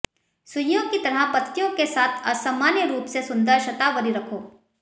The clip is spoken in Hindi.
सुइयों की तरह पत्तियों के साथ असामान्य रूप से सुंदर शतावरी रखो